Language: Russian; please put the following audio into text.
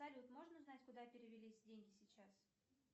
салют можно узнать куда перевелись деньги сейчас